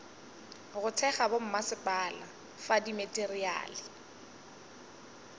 go thekga bommasepala fa dimateriale